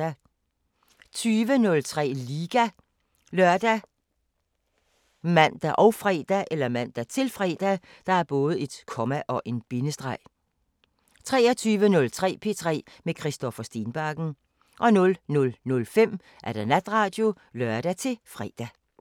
20:03: Liga ( lør, man, -fre) 23:03: P3 med Christoffer Stenbakken 00:05: Natradio (lør-fre)